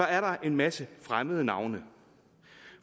er der en masse fremmede navne